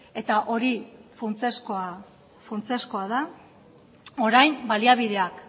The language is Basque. eta hori funtsezkoa da orain baliabideak